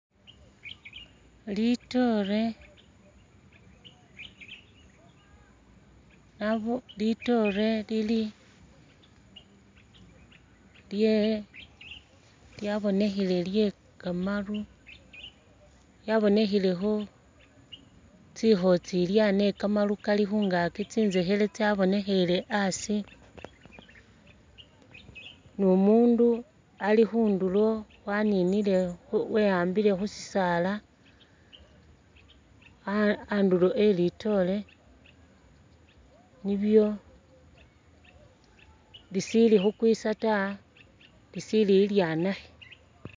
Litoore, nabo litoore lili lye lyabonekhele lye kamaru lyabonekhelekho tsikhotsilya ne kamaru kali khungakyi tsizekhele tsya bonekhele asi ni umundu ali khundulo waninile we yambile khu sisaala andulo e litoore nilyo lisili khukwisa ta lisili lilyanakhe.